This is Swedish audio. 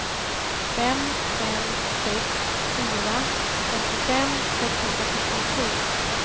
fem fem sex fyra femtiofem sexhundrasjuttiotre